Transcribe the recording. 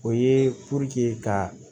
O ye ka